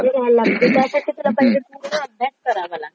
घ्यायला लागते. त्यासाठी पूर्ण अभ्यास करावा लागतो.